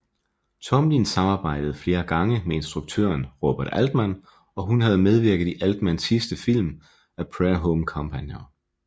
Tomlin samarbejdede flere gange med instruktøren Robert Altman og hun havde medvirket i Altmans sidste film A Prairie Home Companion